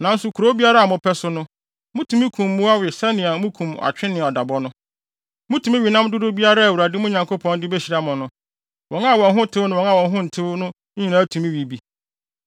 Nanso kurow biara a mopɛ so no, mutumi kum mmoa we sɛnea mukum atwe ne adabɔ no. Mutumi we nam dodow biara a Awurade, mo Nyankopɔn, de behyira mo no. Wɔn a wɔn ho tew ne wɔn a wɔn ho ntew no nyinaa tumi we bi.